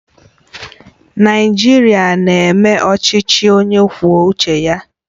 Naijiria na-eme ọchịchị onye kwuo uche ya